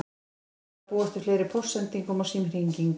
Hann vildi ekki þurfa að búast við fleiri póstsendingum og símhringingum.